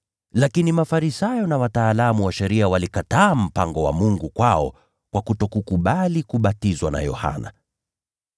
Lakini Mafarisayo na wataalamu wa sheria walikataa mpango wa Mungu kwao kwa kutokubali kubatizwa na Yohana.)